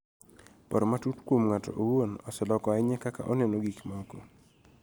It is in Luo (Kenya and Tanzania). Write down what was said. Paro matut kuom ng�ato owuon oseloko ahinya kaka aneno gik moko